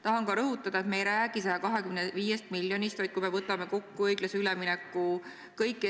Tahan ka rõhutada, et me ei räägi 125 miljonist, vaid kui me võtame kokku õiglase ülemineku kõik